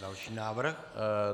Další návrh.